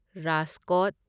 Rajkot